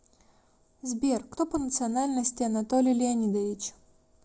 сбер кто по национальности анатолий леонидович